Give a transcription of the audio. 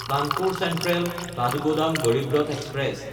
Kanpur চেন্ট্ৰেল–কাঠগোদাম Garib Rath express